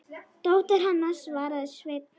Dóttir hennar, svaraði Sveinn.